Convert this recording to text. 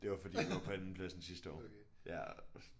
Det var fordi vi var på andenplads sidste år. Ja